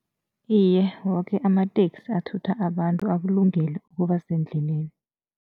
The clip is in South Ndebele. Iye, woke amateksi athutha abantu akulungele ukuba sendleleni.